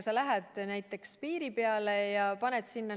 Sa lähed näiteks piiri peale ja näitad seda.